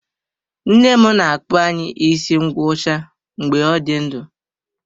Nne m na-akpụ anyị isi ngwọcha mgbe ọ dị ndụ.